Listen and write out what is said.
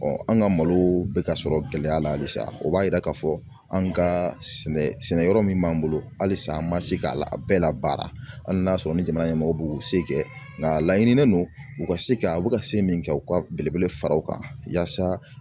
an ka malo bɛ ka sɔrɔ gɛlɛya la halisa o b'a yira k'a fɔ anw ka sɛnɛyɔrɔ min b'an bolo halisa an ma se ka a bɛɛ la baara hali n'a sɔrɔ ni jamana ɲɛmɔgɔw b'u se kɛ nka a laɲininen don u ka se ka a bɛ ka se min kɛ u ka belebele fara o kan yaasa